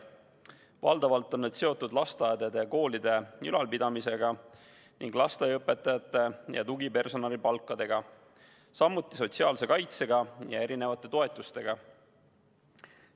Valdavalt on need seotud lasteaedade ja koolide ülalpidamisega ning lasteaiaõpetajate ja tugipersonali palkadega, samuti sotsiaalse kaitsega ja erinevate toetustega.